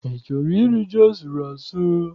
I chọrọ iri ji asụrụ asụ?